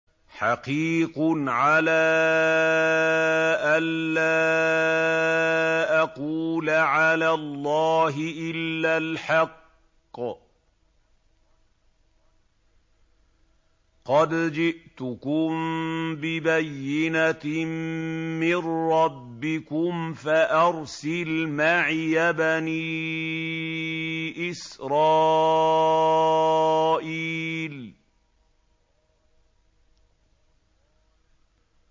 حَقِيقٌ عَلَىٰ أَن لَّا أَقُولَ عَلَى اللَّهِ إِلَّا الْحَقَّ ۚ قَدْ جِئْتُكُم بِبَيِّنَةٍ مِّن رَّبِّكُمْ فَأَرْسِلْ مَعِيَ بَنِي إِسْرَائِيلَ